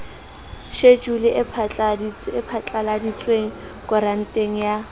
shejulu e phatlaladitsweng koranteng ya